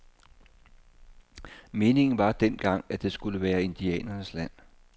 Meningen var dengang, at det skulle være indianernes land.